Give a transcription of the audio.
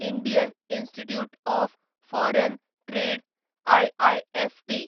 Indian institute of foreign trade IIFT